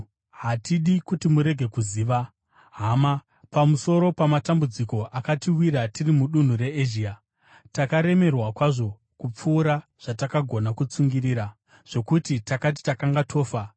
Hatidi kuti murege kuziva, hama, pamusoro pamatambudziko akatiwira tiri mudunhu reEzhia. Takaremerwa kwazvo, kupfuura zvatakagona kutsungirira, zvokuti takati takanga tofa.